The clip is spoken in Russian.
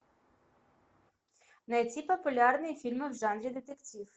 найти популярные фильмы в жанре детектив